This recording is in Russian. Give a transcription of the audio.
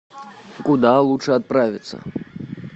куда лучше отправиться